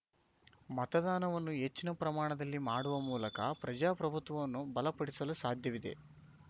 ಮತದಾನವನ್ನು ಹೆಚ್ಚಿನ ಪ್ರಮಾಣದಲ್ಲಿ ಮಾಡುವ ಮೂಲಕ ಪ್ರಜಾಪ್ರಭುತ್ವವನ್ನು ಬಲಪಡಿಸಲು ಸಾಧ್ಯವಿದೆ